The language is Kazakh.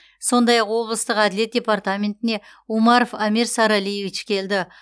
сондай ақ облыстық әділет департаментіне умаров амир саралиевич келді